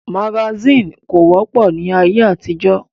Magasínì kò wọ́pọ̀ ní ayé àtijọ́